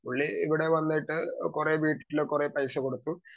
speaker 2 പുള്ളി ഇവിടെ വന്നിട്ട് കുറെ വീട്ടില് കുറേ പൈസ കൊടുത്തു